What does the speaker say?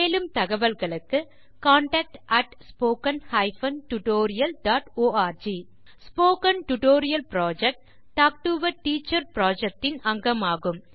மேலும் தகவல்களுக்கு contactspoken tutorialorg the spoken tutorial project talk to a teacher project - இன் ஒரு அங்கமாகும்